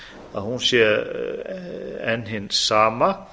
að hún sé enn hin sama